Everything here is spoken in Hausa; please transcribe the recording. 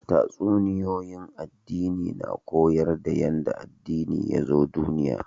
Tatsuniyoyin addini na koyar da yanda addini yazo duniya